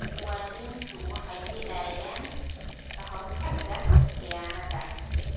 Muwaadiniintu waxay helayaan ka-hortagga khiyaanada.